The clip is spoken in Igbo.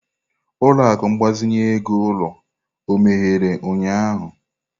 Ụlọ akụ mgbazinye ego ulo ó emeghere ụnyahụ?